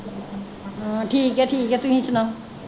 ਹਾਂ ਠੀਕ ਆ ਠੀਕ ਆ ਤੁਸੀ ਸੁਣਾਓ?